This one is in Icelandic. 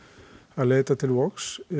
að leita til Vogs